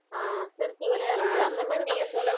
ஆஹ் சிரிச்சு விளையாட முடியாது அந்த மாதிரி